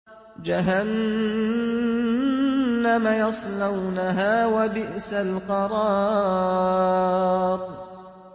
جَهَنَّمَ يَصْلَوْنَهَا ۖ وَبِئْسَ الْقَرَارُ